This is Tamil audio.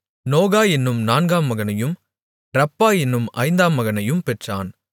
நோகா என்னும் நான்காம் மகனையும் ரப்பா என்னும் ஐந்தாம் மகனையும் பெற்றான்